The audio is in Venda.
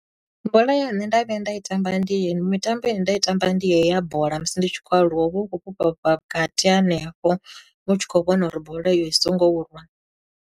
Bola ye nṋe nda vhuya nda i tamba ndi ye, mitambo ine nda i tamba ndi yeyi ya bola musi ndi tshi khou aluwa u vha u khou fhufha fhufha vhukati hanefho, u tshi khou vhona uri bola iyo i songo u rwa.